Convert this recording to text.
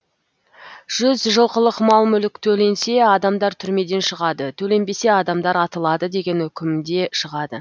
жұз жылқылық мал мүлік төленсе адамдар түрмеден шығады төленбесе адамдар атылады деген үкімде шығады